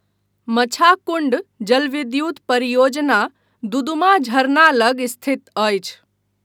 मछाकुण्ड जलविद्युत् परियोजना दुदुमा झरना लग स्थित अछि।